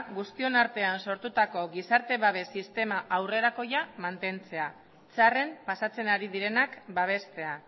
guztion artean sortutako gizarte babes aurrerakoia mantentzea txarren pasatzen ari direnak babestea